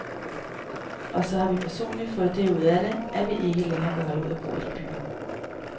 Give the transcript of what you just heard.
Og så har vi personligt fået det ud af det, at vi ikke kan holde ud at bo i byen.